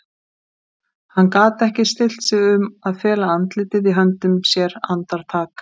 Hann gat ekki stillt sig um að fela andlitið í höndum sér andartak.